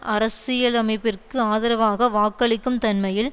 அரசிலமைப்பிற்கு ஆதரவாக வாக்களிக்கும் தன்மையில்